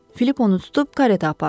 Filip onu tutub karetə apardı.